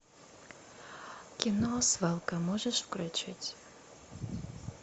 кино свалка можешь включить